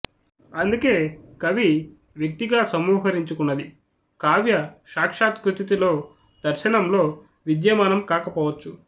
అందుకే కవి వ్యక్తిగా సమాహరించుకొన్నది కావ్య సాక్షాత్కృతిలో దర్శనంలో విద్యమానం కాకపోవచ్చు